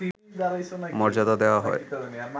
মর্যাদা দেওয়া হয়